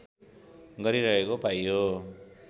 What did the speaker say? गरिरहेको पाइयो